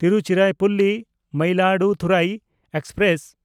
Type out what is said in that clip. ᱛᱤᱨᱩᱪᱤᱨᱟᱯᱚᱞᱞᱤ–ᱢᱚᱭᱤᱞᱟᱫᱩᱛᱷᱩᱨᱟᱭ express